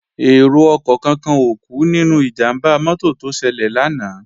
Èrò ọkọ̀ kankan ò kú nínú ìjàmbá mọ́tò tó ṣẹlẹ̀ lánàá